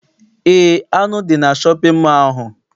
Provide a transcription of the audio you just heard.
Eé, anụ dị na shọpịn mọọ ahụ.